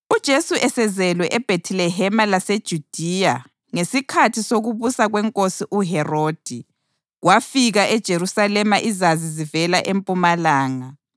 UJesu esezelwe eBhethilehema laseJudiya ngesikhathi sokubusa kwenkosi uHerodi, kwafika eJerusalema iZazi zivela empumalanga,